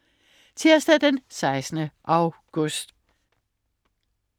Tirsdag den 16. august